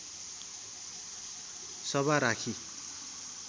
सभा राखी